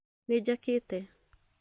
Nĩ njakete